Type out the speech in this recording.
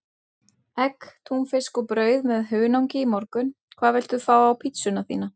Egg, túnfisk og brauð með hunangi í morgun Hvað vilt þú fá á pizzuna þína?